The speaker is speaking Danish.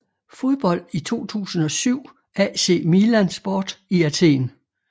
Fodbold i 2007 AC Milan Sport i Athen